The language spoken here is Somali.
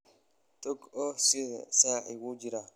Tag oo xidho sacii, wuu jaray.